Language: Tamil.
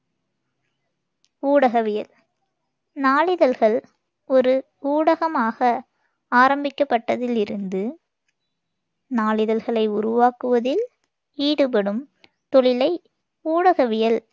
ஊடகவியல் நாளிதழ்கள் ஒரு ஊடகமாக ஆரம்பிக்கப்பட்டதில் இருந்து நாளிதள்களை உருவாக்குவதில் ஈடுபடும் தொழிலை ஊடகவியல்